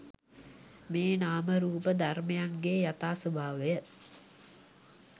මේ නාම රූප ධර්මයන්ගේ යථා ස්වභාවය